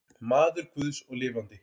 Maður guðs og lifandi.